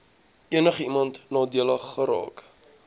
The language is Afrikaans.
enigiemand nadelig geraak